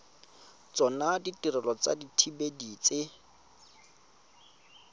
tsona ditirelo tsa dithibedi tse